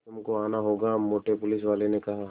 तुमको आना होगा मोटे पुलिसवाले ने कहा